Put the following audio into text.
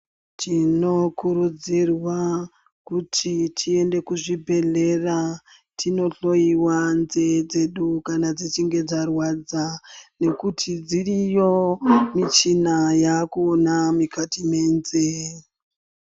Tinokurudzirwa kuti tiende kuzvibhedhlera tinohloyiwa nzeye dzedu kana dzichinge dzarwadza nekuti dziriyo michina yaakuona mukati menzeye.